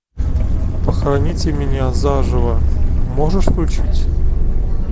похороните меня заживо можешь включить